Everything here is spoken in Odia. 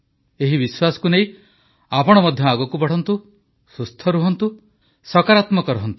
ଏହି ବିଶ୍ୱାସକୁ ନେଇ ଆପଣ ମଧ୍ୟ ଆଗକୁ ବଢ଼ନ୍ତୁ ସୁସ୍ଥ ରହନ୍ତୁ ସକାରାତ୍ମକ ରହନ୍ତୁ